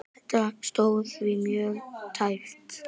Þetta stóð því mjög tæpt.